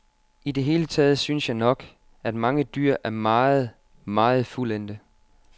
I det hele taget synes jeg nok, at mange dyr er meget, meget fuldendte.